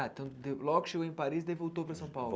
Ah, então logo chegou em Paris, daí voltou para São Paulo.